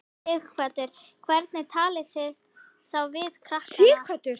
Sighvatur: Hvernig talið þið þá við krakkana?